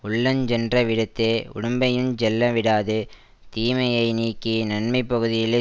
உள்ளஞ் சென்ற விடத்தே உடம்பையுஞ் செல்லவிடாது தீமையை நீக்கி நன்மை பகுதியிலே